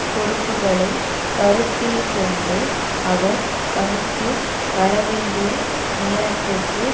பொறுப்புக்களை கருத்தில் கொண்டு அவர் பணிக்கு வரவேண்டிய நேரத்திற்கு